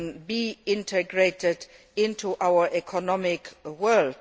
to be integrated into our economic world.